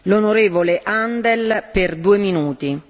Frau Präsidentin, liebe Kolleginnen, liebe Kollegen!